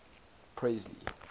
presley